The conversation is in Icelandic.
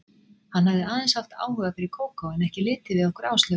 Hann hafði aðeins haft áhuga fyrir Kókó, en ekki litið við okkur Áslaugu.